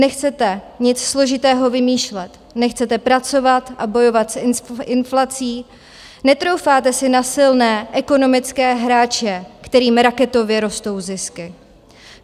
Nechcete nic složitého vymýšlet, nechcete pracovat a bojovat s inflací, netroufáte si na silné ekonomické hráče, kterým raketově rostou zisky.